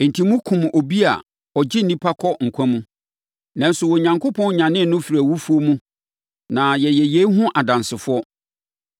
Enti, mokumm obi a ɔgye nnipa kɔ nkwa mu. Nanso, Onyankopɔn nyanee no firii awufoɔ mu na yɛyɛ yei ho adansefoɔ.